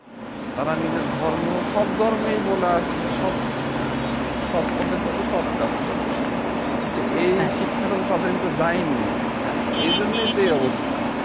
তারা নিজের ধর্ম সব ধর্মেই বলা আছে যে সৎ সৎ পথে চল সৎ কাজ করো কিন্তু এই শিক্ষাটা তাদের ভেতরে যায়নিরে ভাই এই জন্যই তো এই অবস্থা